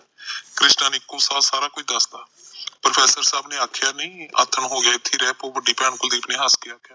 ਕ੍ਰਿਸ਼ਨਾ ਨੇ ਏਕੋ ਸਾਹ ਸਾਰਾ ਕੁੱਛ ਦੱਸਤਾ ਪ੍ਰੋਫੈਸਰ ਸਾਬ ਨੇ ਆਖਿਆ ਨਹੀਂ ਆਥਣ ਹੋਗਿਆ ਇਥੇ ਹੀ ਰਹਿਪੋ ਵੱਡੀ ਭੈਣ ਕੁਲਦੀਪ ਨੇ ਹੱਸ ਕ ਆਖਿਆ